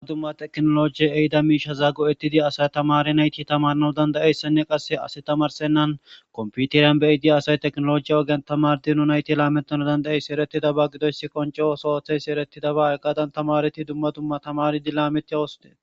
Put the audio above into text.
Dma dumma teknologie ehida miishaza go7ettidi asay tamari nayti tamarnau dandayeyssenne qasse asi tamarsennan komputiriyan be7y di asay teknolojiya ogen tamar dinu nayti laametana dandayeysi eretidaba gidoyssi konce osootheysi erettidaba eggadan tamareti dumma dumma tamari dilameti awoste